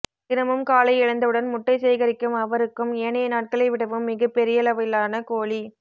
தினமும் காலை எழுந்தவுடன் முட்டை சேகரிக்கும் அவருக்கும் ஏனைய நாட்களை விடவும் மிகப் பெரியளவிலான கோழி